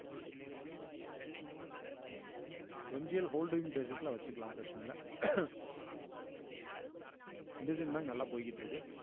M G ல holding basis ல வச்சுக்கலாம் பிரச்சனை இல்ல bank நல்லா போய்கிட்டு இருக்கு